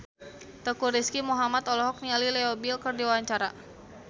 Teuku Rizky Muhammad olohok ningali Leo Bill keur diwawancara